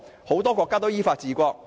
很多國家都依法治國。